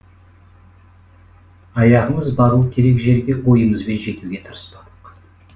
аяғымыз бару керек жерге ойымызбен жетуге тырыспадық